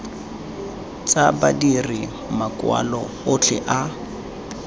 tsa badiri makwalo otlhe a